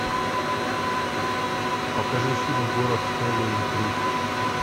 покажи фильм город хэллоуин три